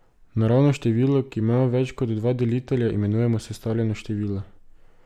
Naravno število, ki ima več kot dva delitelja, imenujemo sestavljeno število.